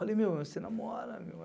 Falei, meu, você namora, meu.